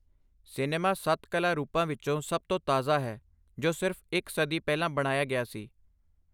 Cinema ਸੱਤ ਕਲਾ ਰੂਪਾਂ ਵਿੱਚੋਂ ਸਭ ਤੋਂ ਤਾਜ਼ਾ ਹੈ, ਜੋ ਸਿਰਫ਼ ਇੱਕ ਸਦੀ ਪਹਿਲਾਂ ਬਣਾਇਆ ਗਿਆ ਸੀ।